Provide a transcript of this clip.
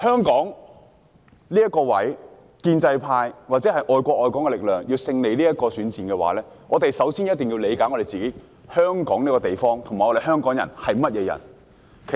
建制派或愛國愛港力量如果想在香港這個地方的選戰中獲得勝利，首先便要理解香港這個地方，以及香港人是怎麼樣的。